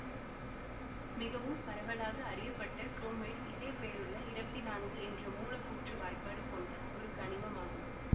மிகவும் பரவலாக அறியப்பட்ட குரோமைட்டு இதே பெயரிலுள்ள இரவத்தி நான்கு என்ற மூலக்கூற்று வாய்ப்பாடு கொண்ட ஒரு கனிமம் ஆகும்